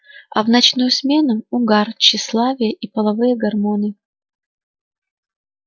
а в ночную смену угар тщеславие и половые гормоны